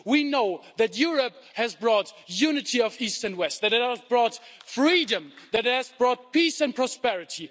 We know that Europe has brought unity of East and West, that it has brought freedom, that it has brought peace and prosperity.